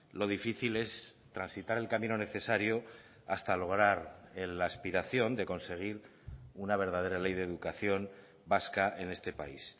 lo difícil es transitar el camino necesario hasta lograr la aspiración de conseguir una verdadera ley de educación vasca en este país